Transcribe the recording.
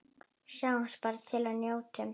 Sjáum bara til og njótum.